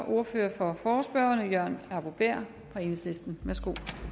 ordføreren for forespørgerne jørgen arbo bæhr fra enhedslisten værsgo